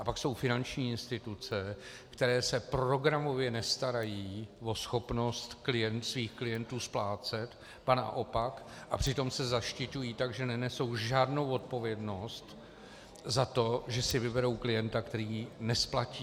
A pak jsou finanční instituce, které se programově nestarají o schopnost svých klientů splácet, ba naopak, a přitom se zaštiťují tak, že nenesou žádnou odpovědnost za to, že si vyberou klienta, který ji nesplatí.